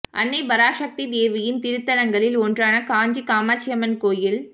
அன்னை பராசக்தி தேவியின் திருத்தலங்களில் ஒன்றான காஞ்சி காமாட்சி அம்மன் கோவில்